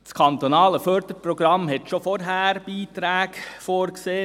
Das kantonale Förderprogramm sah schon vorher Beiträge vor.